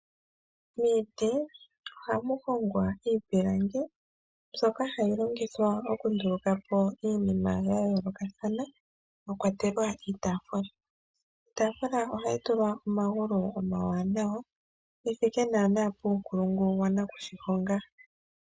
Miiti ohamu hongwa iipilangi mbyoka hayi longithwa okundulukapo iinima ya yoolokathana mwa kwatelwa iitaafula. Iitaafula ohayi tulwa omagulu omawanawa ge thike naanaa puunkulungu wa nakushihonga.